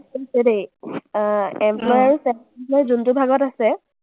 দেই। অ, employee আৰু self employee যোনটো ভাগত আছে,